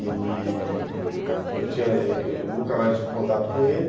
Ele... eu nunca mais tive contato com ele.